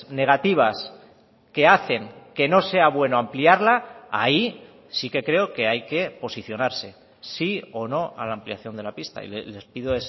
negativas que hacen que no sea bueno ampliarla ahí sí que creo que hay que posicionarse sí o no a la ampliación de la pista y les pido